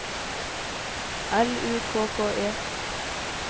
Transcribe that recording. L U K K E